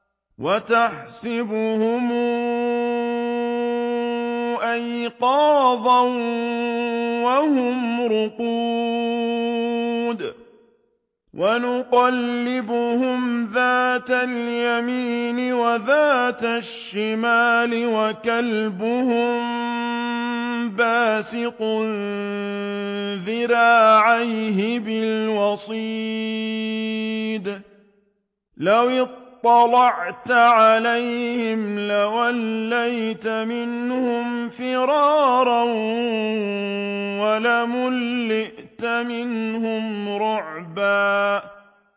وَتَحْسَبُهُمْ أَيْقَاظًا وَهُمْ رُقُودٌ ۚ وَنُقَلِّبُهُمْ ذَاتَ الْيَمِينِ وَذَاتَ الشِّمَالِ ۖ وَكَلْبُهُم بَاسِطٌ ذِرَاعَيْهِ بِالْوَصِيدِ ۚ لَوِ اطَّلَعْتَ عَلَيْهِمْ لَوَلَّيْتَ مِنْهُمْ فِرَارًا وَلَمُلِئْتَ مِنْهُمْ رُعْبًا